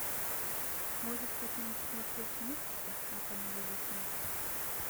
может быть нам посмотреть мультики на канале дисней